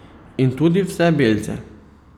In tudi vse belce.